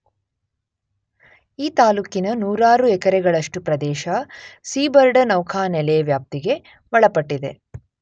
ಈ ತಾಲ್ಲೂಕಿನ ನೂರಾರು ಎಕರೆಗಳಷ್ಟು ಪ್ರದೇಶ ಸೀಬರ್ಡ ನೌಖಾನೆಲೆ ವ್ಯಾಪ್ತಿಗೆ ಒಳಪಟ್ಟಿದೆ.